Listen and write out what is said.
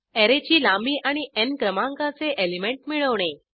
अॅरेची लांबी आणि न् क्रमांकाचे एलिमेंट मिळवणे